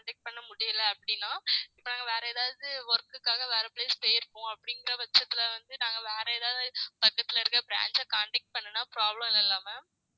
பண்ண முடியலை அப்படின்னா இப்ப நாங்க வேற ஏதாவது work க்காக வேற place போயிருப்போம் அப்படிங்கிற பட்சத்திலே வந்து நாங்க வேற ஏதாவது பக்கத்துல இருக்க branch அ contact பண்ணுனா problem இல்லல்ல ma'am